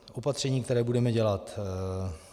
Opatření, které budeme dělat.